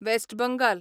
west Bengal